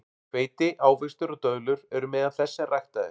Hveiti, ávextir og döðlur eru meðal þess sem ræktað er.